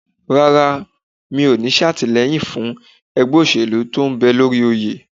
Rárá, mi ò ní ṣàtìlẹ́yìn fún ẹgbẹ́ òṣèlú tí ń bẹ lórí oyè.